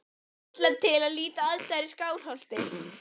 Íslands til að líta á aðstæður í Skálholti.